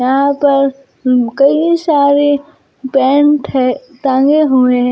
यहां पर कई सारे पेंट है टांगे हुए हैं।